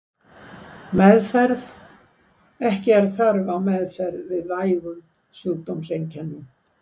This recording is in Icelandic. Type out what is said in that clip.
Meðferð Ekki er þörf á meðferð við vægum sjúkdómseinkennum.